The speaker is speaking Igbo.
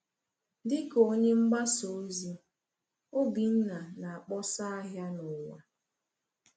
Dịka onye mgbasa ozi, Obinna na-akpọsa ahịa n’ụwa.